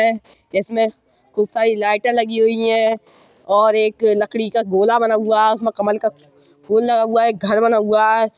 है जिसमें खूब सारी लाईटें लगी हुई है और एक लकड़ी का गोला बना हुआ है। उसमें कमल का फूल लगा हुआ है घर बना हुआ है।